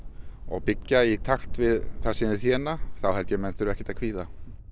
og byggja í takt við það sem þau þéna þá held ég að menn þurfi ekkert að kvíða